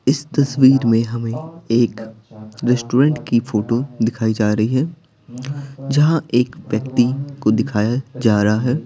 इस तस्वीर में हमें एक रेस्टोरेंट की फोटो दिखाई जा रही है जहां एक व्यक्ति को दिखाया जा रहा है।